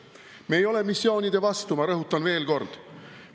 Me ei ole missioonide vastu, ma rõhutan veel kord.